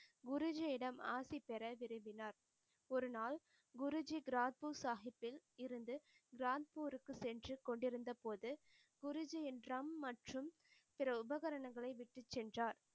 குருஜியிடம் ஆசி பெற விரும்பினார் ஒருநாள் குருஜி கிராத்பூர் சாஹிபில் இருந்து கிராந்பூருக்கு சென்று கொண்டிருந்த போது குருஜியின் drum மற்றும் சில உபகரனங்களை விட்டுச் சென்றார்.